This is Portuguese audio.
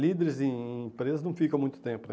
Líderes em empresas não ficam muito tempo.